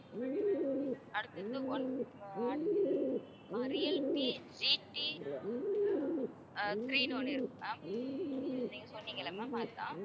அடுத்தது one அஹ் அடுத்தது அஹ் ரியல்மீ GT ஆஹ் three ன்னு ஒண்ணு இருக்கு ma'am நீங்க சொன்னீங்கல்ல ma'am அதுதான்